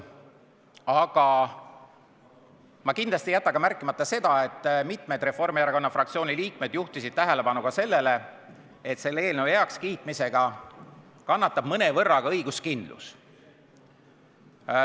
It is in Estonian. Aga ma kindlasti ei jäta ka märkimata seda, et mitmed Reformierakonna fraktsiooni liikmed juhtisid tähelepanu sellele, et selle eelnõu heakskiitmisega kannatab mõnevõrra õiguskindlus.